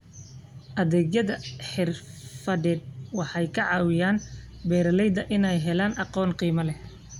Adeegyada xirfadeed waxay ka caawiyaan beeralayda inay helaan aqoon qiimo leh.